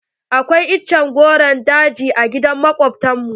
Akwai itace rogon daji a gidan makobtan mu.